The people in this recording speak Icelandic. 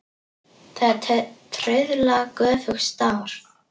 Það er trauðla göfugt starf.